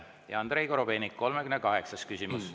Andrei Korobeinik, 38. küsimus.